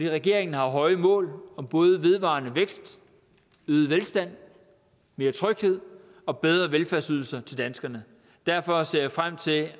regeringen har høje mål om både vedvarende vækst øget velstand mere tryghed og bedre velfærdsydelser til danskerne derfor ser jeg frem til